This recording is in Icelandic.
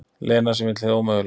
Lena sem vill hið ómögulega.